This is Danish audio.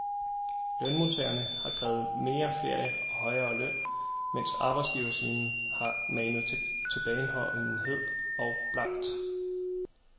Lønmodtagerne har krævet mere ferie og højere løn, mens arbejdsgiversiden har manet til tilbageholdenhed og blankt